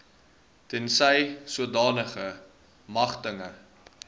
tensy sodanige magtiging